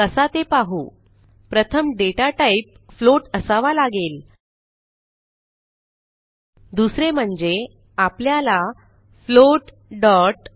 कसा ते पाहू प्रथम डेटा टाईप फ्लोट असावा लागेल दुसरे म्हणजे आपल्याला फ्लोट